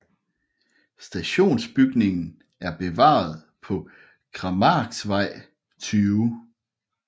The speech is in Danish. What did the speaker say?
Stationsbygningen er bevaret på Krammarksvej 20